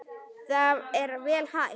Það er vel hægt.